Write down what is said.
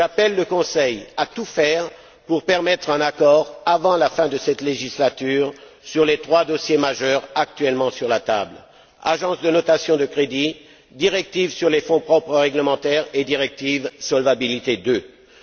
J'appelle le Conseil à tout faire pour permettre un accord avant la fin de cette législature sur les trois dossiers majeurs actuellement sur la table agences de notation de crédits, directives sur les fonds propres réglementaires et directive Solvabilité II.